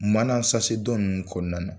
Mana dɔ ninnu kɔnɔna na.